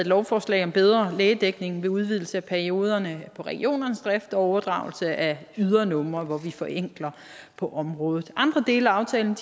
lovforslag om bedre lægedækning ved udvidelse af perioderne for regionernes drift og overdragelse af ydernumre hvor vi forenkler på området andre dele af aftalen